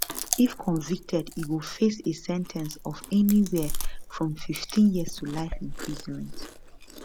if convicted e go face a sen ten ce of anywhere from 15 years to life in prison